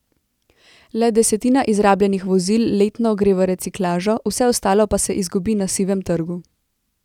Le desetina izrabljenih vozil letno gre v reciklažo, vse ostalo pa se izgubi na sivem trgu.